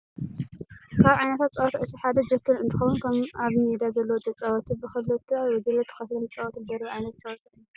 ካብ ዓይነታት ፀወታ እቲ ሓደ ጆተኒ እንትኸውን ከም ኣብ ሜዳ ዘለዉ ተጫወትቲ ብክልተ ጉጅለ ተከፊሎም ዝፃወትሉ ደርቢ ዓይነት ፅዋታ እዩ።